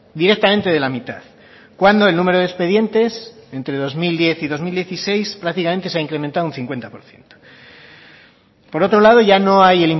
directamente de la mitad cuando el número de expedientes entre dos mil diez y dos mil dieciséis prácticamente se ha incrementado un cincuenta por ciento por otro lado ya no hay